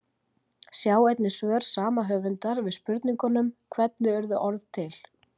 Sjá einnig svör sama höfundar við spurningunum Hvernig urðu orð til?